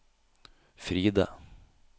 Fride